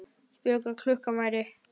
Spurði hvað klukkan væri.